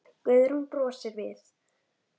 Guðrún brosir við.